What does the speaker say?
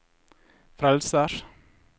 frelsers